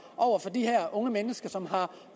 over for de her unge mennesker som har